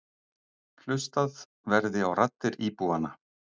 Hlustað verði á raddir íbúanna.